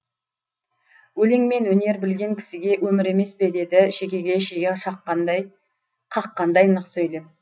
өлең мен өнер білген кісіге өмір емес пе деді шекеге шеге қаққандай нық сөйлеп